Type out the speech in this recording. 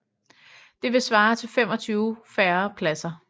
Det ville svare til 25 færre pladser